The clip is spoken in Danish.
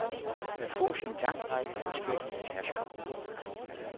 Der fås en lang række forskellige tasker.